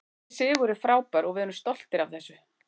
Þessi sigur er frábær og við erum stoltir af þessu.